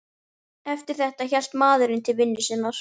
Eftir þetta hélt maðurinn til vinnu sinnar.